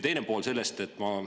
Teine pool.